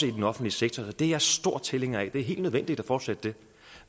i den offentlige sektor det er jeg stor tilhænger af og det er helt nødvendigt at fortsætte det